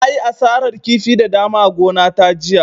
Na yi asarar kifi da dama a gona ta jiya